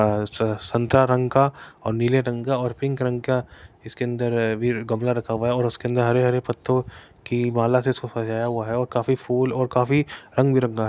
अ-अ-संतरा रंग का और नीले रंग का और पिंक रंग का इसके अंदर अ-ब-गमला रखा हुआ है और उसके अंदर हरे- हरे पत्तों की माला से इसको सजाया हुआ है और काफ़ी फूल और काफ़ी रंग बिरंगा है।